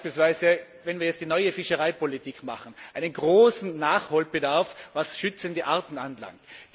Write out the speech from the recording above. Wir haben beispielsweise, wenn wir jetzt die neue Fischereipolitik auf den Weg bringen, einen großen Nachholbedarf, was zu schützende Arten anlangt.